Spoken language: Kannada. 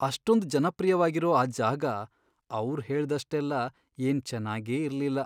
ಅಷ್ಟೊಂದ್ ಜನಪ್ರಿಯ್ವಾಗಿರೋ ಆ ಜಾಗ ಅವ್ರ್ ಹೇಳ್ದಷ್ಟೆಲ್ಲ ಏನ್ ಚೆನ್ನಾಗೇ ಇರ್ಲಿಲ್ಲ.